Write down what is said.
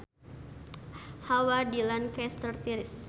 Hawa di Lancaster tiris